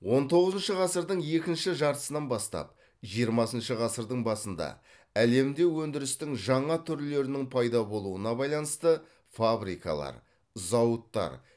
он тоғызыншы ғасырдың екінші жартысынан бастап жиырмасыншы ғасырдың басында әлемде өндірістің жаңа түрлерінің пайда болуына байланысты фабрикалар зауыттар